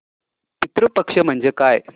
पितृ पक्ष म्हणजे काय